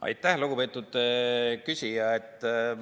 Aitäh, lugupeetud küsija!